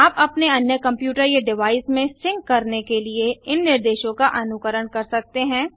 आप अपने अन्य कंप्यूटर या डिवाइस में सिंक करने के लिए इन निर्देशों का अनुकरण कर सकते हैं